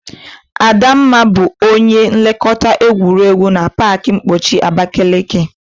Adamma bu onye nlekọta egwuregwu na pak mkpọchi Abakeleke.